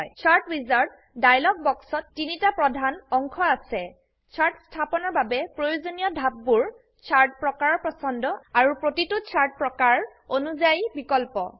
shirt wizard dialogue বক্সত তিনটা প্ৰধান অংশ আছে চাৰ্ট স্থাপনৰ বাবে প্ৰয়োজনীয় ধাপবোৰ চাৰ্ট প্ৰকাৰৰ পছন্দ আৰু প্ৰতিটো চাৰ্ট প্ৰকাৰ অনুযাই বিকল্প